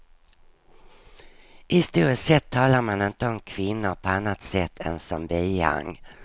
Historiskt sett talar man inte om kvinnor på annat sätt än som bihang.